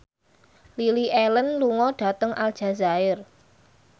Lily Allen lunga dhateng Aljazair